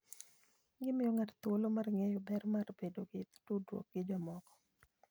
Gimiyo ng'ato thuolo mar ng'eyo ber mar bedo gi tudruok gi jomoko.